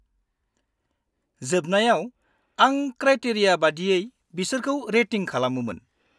-जोबनायाव, आं क्राटेरिया बायदियै बिसोरखौ रेटिं खालामोमोन।